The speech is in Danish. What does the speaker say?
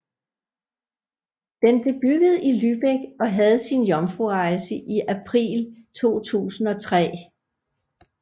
Den blev bygget i Lübeck og havde sin jomfrurejse i april 2003